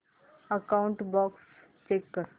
outbox check कर